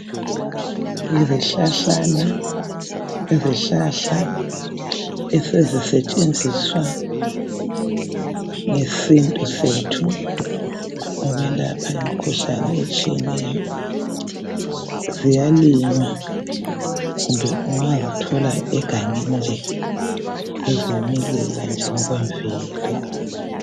Izihlahlana, izihlahla ezisetshenziswa ngesintu sethu ukwelapha imikhuhlane etshiyeneyo, ziyalinyea kumbe ungazithola egangeni zizimilela ngokwe mvelo.